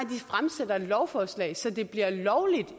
fremsat lovforslag så det bliver lovligt